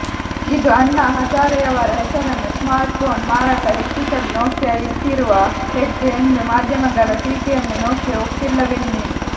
ಇದು ಅಣ್ಣಾ ಹಜಾರೆಯವರ ಹೆಸರನ್ನು ಸ್ಮಾರ್ಟ್ಪೋನ್ ಮಾರಾಟ ಹೆಚ್ಚಿಸಲು ನೋಕಿಯಾ ಇಟ್ಟಿರುವ ಹೆಜ್ಜೆ ಎಂದು ಮಾಧ್ಯಮಗಳ ಟೀಕೆಯನ್ನು ನೋಕಿಯಾ ಒಪ್ಪಿಲ್ಲವೆನ್ನಿ